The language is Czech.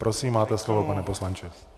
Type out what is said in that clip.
Prosím, máte slovo, pane poslanče.